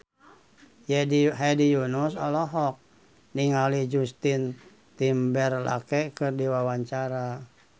Hedi Yunus olohok ningali Justin Timberlake keur diwawancara